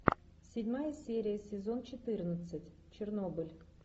седьмая серия сезон четырнадцать чернобыль